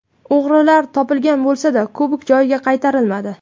O‘g‘rilar topilgan bo‘lsa-da, kubok joyiga qaytarilmadi.